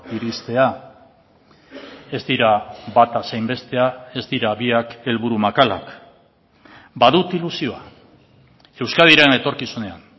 iristea ez dira bata zein bestea ez dira biak helburu makalak badut ilusioa euskadiren etorkizunean